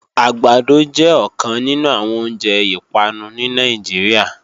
Àgbàdo jẹ́ ọ̀kan nínú àwọn oúnjẹ ìpanu ní Nàìjíríà